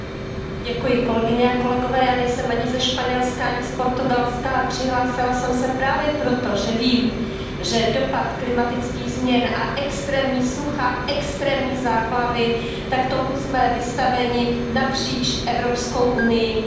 Pane předsedající, já nejsem ani ze Španělska, ani z Portugalska, ale přihlásila jsem se právě proto, že vím, že dopad klimatických změn a extrémní sucha a extrémní záplavy, tak tomu jsme vystaveni napříč Evropskou unií,